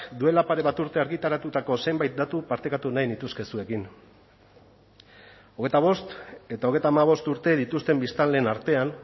duela pare bat urte argitaratutako zenbait datu partekatu nahi nituzke zuekin hogeita bost eta hogeita hamabost urte dituzten biztanleen artean